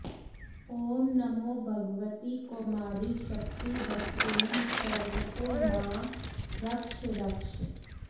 ॐ नमो भगवति कौमारि शक्तिहस्तेन सर्वतो मां रक्ष रक्ष